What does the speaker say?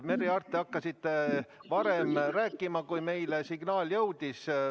Merry Aart, te hakkasite varem rääkima, kui meile signaal jõudis.